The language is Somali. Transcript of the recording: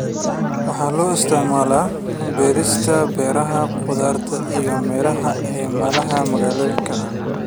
Waxaa loo isticmaalaa beerista beeraha khudaarta iyo miraha ee meelaha magaalooyinka ah.